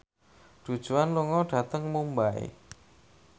Du Juan lunga dhateng Mumbai